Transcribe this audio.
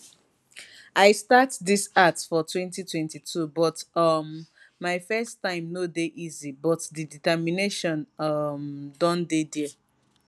i start dis art for 2022 but um my first time no dey easy but di determination um don dey dia